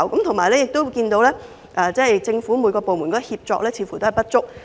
同時，政府各部門的協作似乎有所不足。